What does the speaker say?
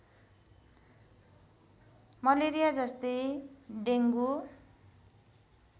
malaria जस्तै dengue